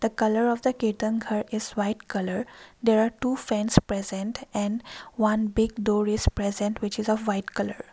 the colour of the ketan ghar is white colour there are two friends present in one big door is present which is a white colour.